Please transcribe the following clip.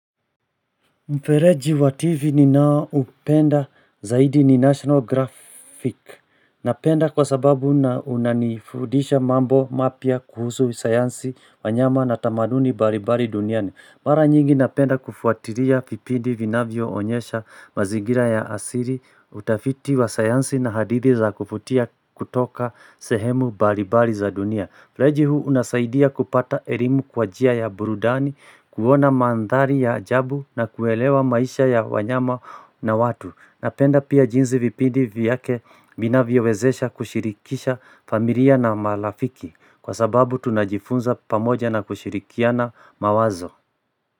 Mfereji wa tivi ninaoupenda zaidi ni national graphic. Napenda kwa sababu na unanifudisha mambo mapya kuhusu sayansi wanyama na tamaduni mbalimbali duniani. Mara nyingi napenda kufuatilia viipindi vinavyoonyesha mazingira ya asili, utafiti wa sayansi na hadithi za kuvutia kutoka sehemu mbalimbali za dunia. Fereji huu unasaidia kupata elimu kwa njia ya burudani, kuona mandhari ya ajabu na kuelewa maisha ya wanyama na watu. Napenda pia jinsi vipindi vyake vinavyowezesha kushirikisha familia na marafiki kwa sababu tunajifunza pamoja na kushirikiana mawazo.